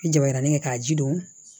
I jabaranin kɛ k'a ji don